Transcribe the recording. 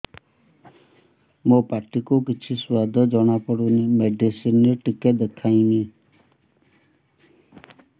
ମୋ ପାଟି କୁ କିଛି ସୁଆଦ ଜଣାପଡ଼ୁନି ମେଡିସିନ ରେ ଟିକେ ଦେଖେଇମି